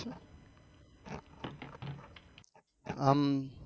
અમ